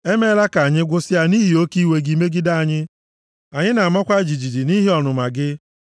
E meela ka anyị gwụsịa nʼihi oke iwe gị megide anyị; anyị na-amakwa jijiji nʼihi ọnụma gị.